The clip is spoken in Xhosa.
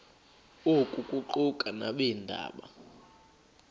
oku kuquka nabeendaba